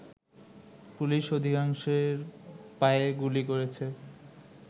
police অধিকাংশের পায়ে গুলি করেছে